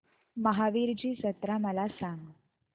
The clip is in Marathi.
महावीरजी जत्रा मला सांग